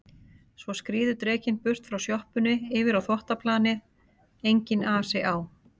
Svo skríður drekinn burt frá sjoppunni yfir á þvottaplanið, enginn asi á